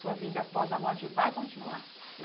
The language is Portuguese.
Sua vida após a morte vai continuar.